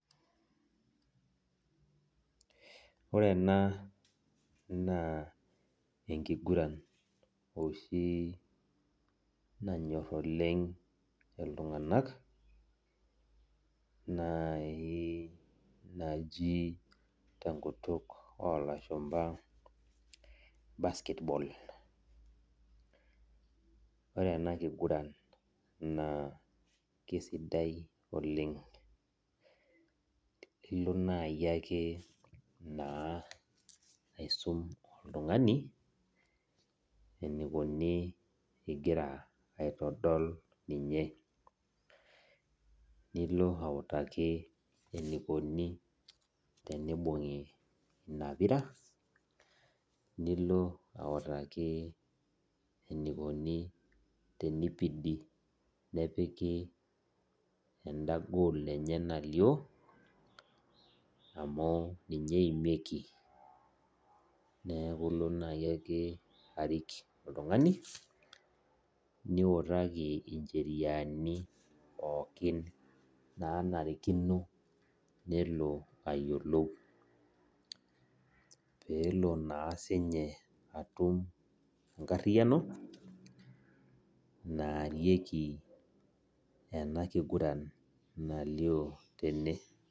Ore ena na enkiguran oshi nanyor oleng ltunganak nai naji tenkut olashumba basketball ore enakiguran na kesidai oleng ilo nai ake aisum oltungani enikuni egira aitodol ninye nilo autaki enikuni teneibungi inapira nilo autaki enikuni tenipidi nepiki enda goal enye nalio amu ninye eimieki neaku ilo nayiake arik oltungani niutaki ncheriani pooki nanarikino nilo ayiolou pelo na sinye atum enkariano naarieki enakiguran nalio tene.